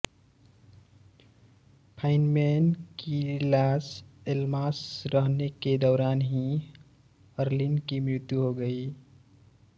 Feynman के Los Alamos रहने के दौरान ही अरलीन की मृत्यु हो गयी